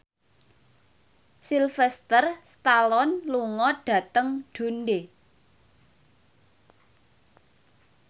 Sylvester Stallone lunga dhateng Dundee